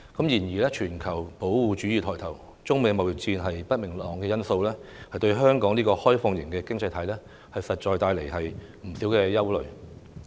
然而，全球保護主義抬頭，加上中美貿易戰的不明朗因素，對香港這個開放型經濟體實在帶來不少隱憂。